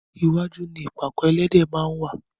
iwájú ni ìpàkọ́ ẹlẹ́dẹ̀ máa ń wá.